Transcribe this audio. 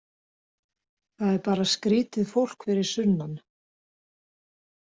Það er bara skrýtið fólk fyrir sunnan.